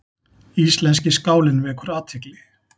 Íslenski skálinn vekur athygli